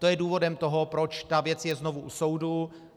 To je důvodem toho, proč ta věc je znovu u soudu.